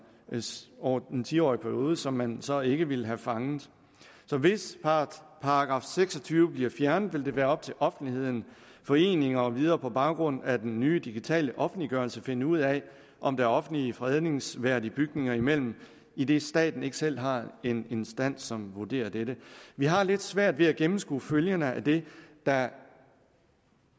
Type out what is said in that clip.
over den tiårige periode som man så ikke ville have fanget så hvis § seks og tyve bliver fjernet vil det være op til offentligheden foreninger og videre på baggrund af den nye digitale offentliggørelse at finde ud af om der er offentligt fredningsværdige bygninger imellem idet staten ikke selv har en instans som vurderer dette vi har lidt svært ved at gennemskue følgerne af det der